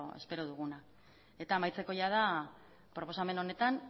espero duguna eta amaitzeko jada proposamen honetan